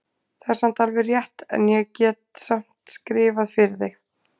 Það er alveg rétt, en ég get samt skrifað fyrir þig.